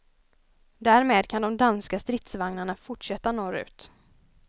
Därmed kan de danska stridsvagnarna fortsätta norrut.